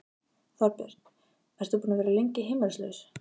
Þorbjörn: Ertu búinn að vera lengi heimilislaus?